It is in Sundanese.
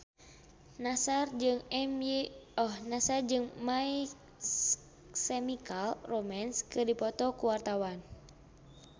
Nassar jeung My Chemical Romance keur dipoto ku wartawan